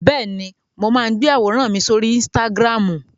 Bẹ́ẹ̀ni, mo máa ń gbé àwòrán mi sórí Instagram.